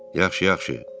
Yaxşı, yaxşı.